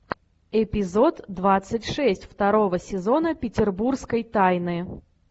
эпизод двадцать шесть второго сезона петербургской тайны